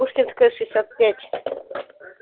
пушкинская шестьдесят пять